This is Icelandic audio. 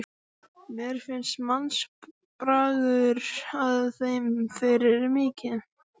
Mér finnst mannsbragur að þeim fyrir vikið.